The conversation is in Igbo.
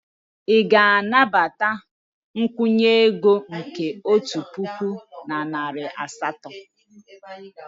Ị ga-anabata nkwụnye ego nke otu puku na narị asatọ?